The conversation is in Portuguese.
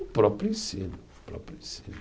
O próprio ensino, o próprio ensino.